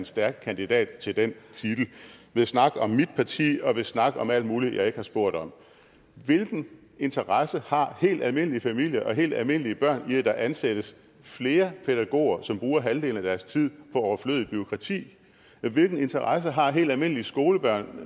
stærk kandidat til den titel ved at snakke om mit parti og ved at snakke om alt muligt jeg ikke har spurgt om hvilken interesse har helt almindelige familier og helt almindelige børn i at der ansættes flere pædagoger som bruger halvdelen af deres tid på overflødigt bureaukrati hvilken interesse har helt almindelige skolebørn